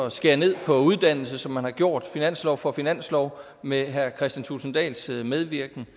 at skære ned på uddannelse som man har gjort finanslov for finanslov med herre kristian thulesen dahls medvirken